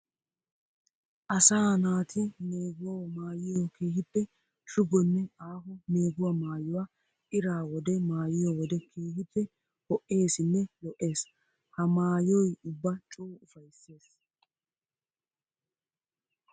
Asaa naati meeguwawu maayiyo keehippe shugonne aaho meeguwa maayuwa ira wode maayiyo wode keehippe ho'essinne lo'ees. Ha maayoy ubba coo ufaysses.